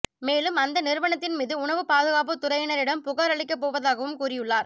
மேலும் அந்த நிறுவனத்தின் மீது உணவு பாதுகாப்பு துறையினரிடம் புகாரளிக்கப்போவதாகவும் கூறியுள்ளார்